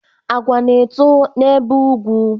Agwa na-eto n'ebe ugwu